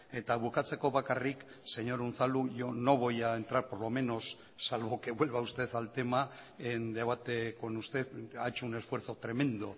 eta bukatzeko bakarrik señor unzalu yo no voy a entrar por lo menos salvo que vuelva usted al tema en debate con usted ha hecho un esfuerzo tremendo